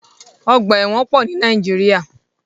Ọgbà ẹ̀wọ̀n pọ̀ ní Nàíjíríà.